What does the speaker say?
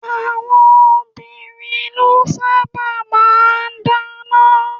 Àwọn obìnrin lọ sábà máa ń dáná.